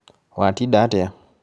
Watinda atĩa?